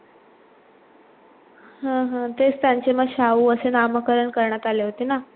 हा हा तेच त्यांचे मग शाहू असे नामकरण करण्यात आले होते ना